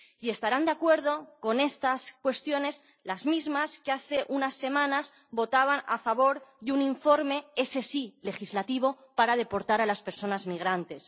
Y estarán de acuerdo con estas cuestiones las mismas personas que hace unas semanas votaban a favor de un informe —ese sí, legislativo— para deportar a las personas migrantes.